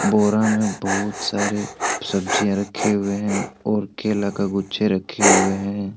बोरा में बहुत सारे सब्जियां रखे हुए हैं और केला का गुच्छे रखे हुए हैं।